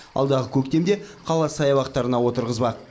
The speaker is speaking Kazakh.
алдағы көктемде қала саябақтарына отырғызбақ